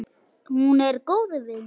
Hún er góð við mig.